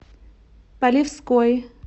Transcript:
полевской